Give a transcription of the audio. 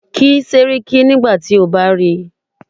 Kí Séríkí nígbà tí o bá ríi.